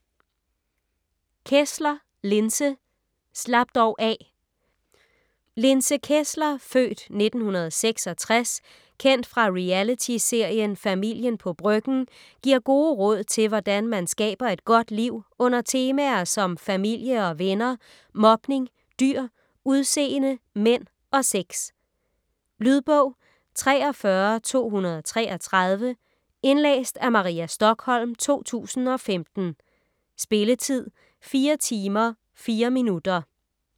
Kessler, Linse: Slap dog af Linse Kessler (f. 1966), kendt fra reality-serien "Familien fra Bryggen", giver gode råd til hvordan man skaber et godt liv under temaer som familie og venner, mobning, dyr, udseende, mænd og sex. Lydbog 43233 Indlæst af Maria Stokholm, 2015. Spilletid: 4 timer, 4 minutter.